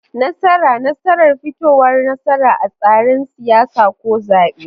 Nasara: Nasarar fitowar nasara a tseren siyasa ko zaɓe.